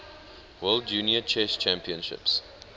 world junior chess champions